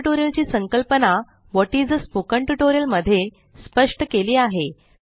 spoken tutorial ची संकल्पना what is आ स्पोकन ट्युटोरियल मध्ये स्पष्ट केली आहे